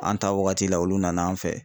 An ta wagati la olu nan'an fɛ